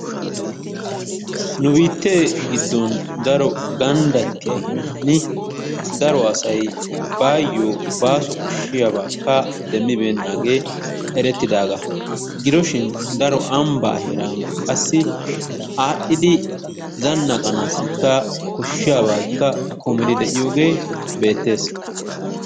Nu biittee giddon daro ganddattiya heeraani daro asay baayyo baaso koshshiyabaakka demmibeennaagee erettidaagaa. Gidoshin daro ambbaa heeran qassi aadhdhidi zannaqanaassikka koshshiyabaakka kumiri de'iyogee beettees.